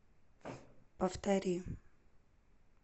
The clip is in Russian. повтори